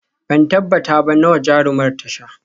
Ban tabbata ba nawa jarumar ta sha